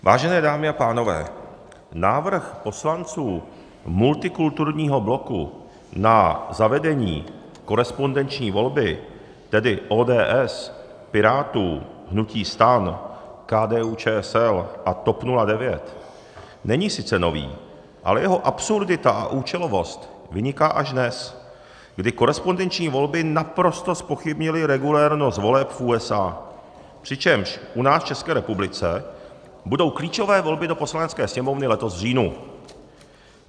Vážené dámy a pánové, návrh poslanců multikulturního bloku na zavedení korespondenční volby, tedy ODS, Pirátů, hnutí STAN, KDU-ČSL a TOP 09 není sice nový, ale jeho absurdita a účelovost vyniká až dnes, kdy korespondenční volby naprosto zpochybnily regulérnost voleb v USA, přičemž u nás v České republice budou klíčové volby do Poslanecké sněmovny letos v říjnu.